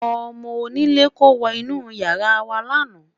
ọmọ onílè kò wo inú yàrá wa lana